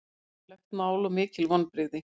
Alvarlegt mál og mikil vonbrigði